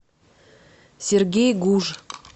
сергей гуж